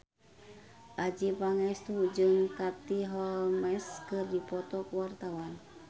Adjie Pangestu jeung Katie Holmes keur dipoto ku wartawan